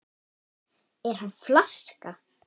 Er hann flaska?